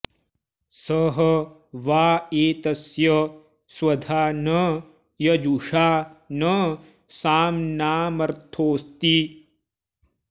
सह वा एतस्य स्वधा न यजुषा न साम्नामर्थोऽस्ति